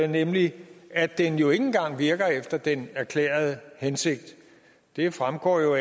nemlig at den jo ikke engang virker efter den erklærede hensigt det fremgår jo